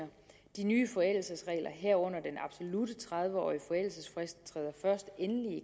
de nye forældelsesregler herunder den absolutte tredive årige forældelsesfrist træder først endeligt i